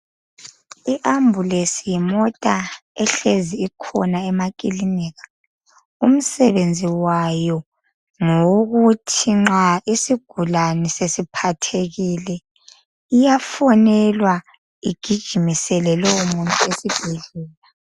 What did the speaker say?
IAmbulance yimota ehlezi ikhona emakilinika umsebenzi wayo ngowokuthi nxa isigulane sesiphathekile iyafonelwa igijimisele lowo muntu esibhedlela.